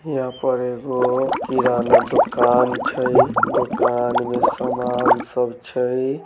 यहाँ पर एगो किराना दुकान छै दुकान में सामान सब छै।